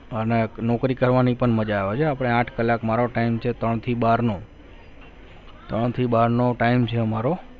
અને નોકરી કરવાની પણ મજા આવે છે આપણે આઠ કલાક મારો time છે મારો ત્રણ થી બાર નો ત્રણ થી બાર નો time છે અમારો